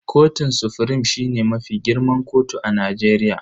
Kotun sufrim shine mafi girman kotu a Najeriya.